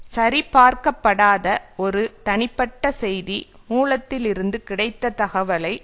சரிபார்க்கப்படாத ஒரு தனிப்பட்ட செய்தி மூலத்திலிருந்து கிடைத்த தகவலை